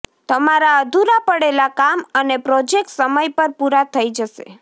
તમારા અધૂરા પડેલા કામ અને પ્રોજેક્ટ સમય પર પુરા થઇ જશે